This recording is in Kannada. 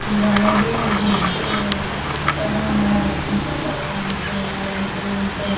ಇವರು ಅವಗೆ ಜಗ್ಗೆ ಸತ್ಯಾಗ್ರಹ ಮಾಡವರ್ ಉಪ್ಪಿನ ಸತ್ಯಾಗ್ರಹ ಅಂತೆ ಅವಂತೆ ಇವಂತೆ.